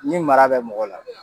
Ni mara bɛ mɔgɔ la